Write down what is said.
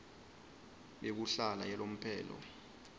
yekuhlala yalomphelo